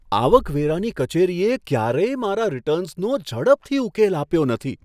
આવકવેરાની કચેરીએ ક્યારેય મારા રિટર્ન્સનો ઝડપથી ઉકેલ આપ્યો નથી.